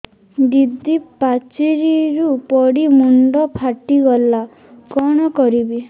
ଦିଦି ପାଚେରୀରୁ ପଡି ମୁଣ୍ଡ ଫାଟିଗଲା କଣ କରିବି